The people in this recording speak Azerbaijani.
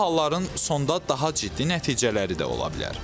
Belə halların sonda daha ciddi nəticələri də ola bilər.